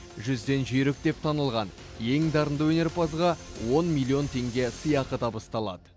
жүзден жүйрік деп танылған ең дарынды өнерпазға он миллион теңге сыйақы табысталады